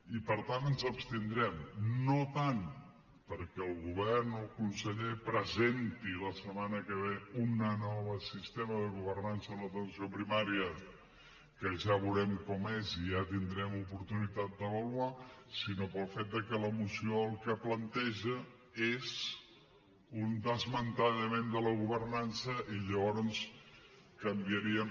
i per tant ens hi abstindrem no tant perquè el govern o el conseller presenti la setmana que ve un nou sistema de governança a l’atenció primària que ja veurem com és i ja tindrem oportunitat d’avaluar sinó pel fet de que la moció el que planteja és un desmantellament de la governança i llavors canviaríem